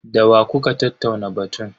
Da wa kuka tattauna batun?